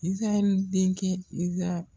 Lisa yoro denkɛ Lisa